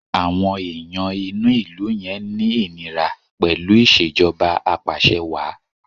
Àwọn èèyàn inú ìlú yẹn ń ní ìníra pẹ̀lú ìṣèjọba apàṣẹwàá.